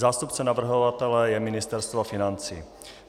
Zástupcem navrhovatele je Ministerstvo financí.